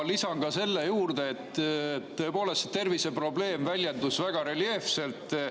Lisan siia juurde, et tõepoolest, terviseprobleem väljendus väga reljeefselt.